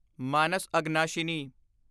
Manas Aghanashini